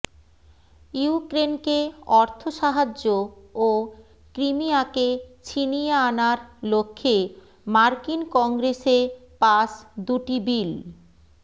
ইউক্রেনকে অর্থসাহা্য্য ও ক্রিমিয়াকে ছিনিয়ে আনার লক্ষ্যে মার্কিন কংগ্রেসে পাস দুটি বিল